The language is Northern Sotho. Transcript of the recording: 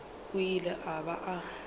a ilego a ba a